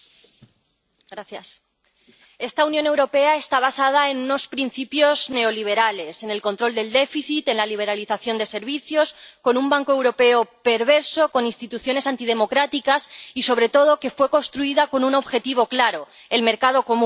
Señor presidente. Esta Unión Europea está basada en unos principios neoliberales, en el control del déficit, en la liberalización de servicios, con un banco europeo perverso, con instituciones antidemocráticas y, sobre todo, fue construida con un objetivo claro el mercado común.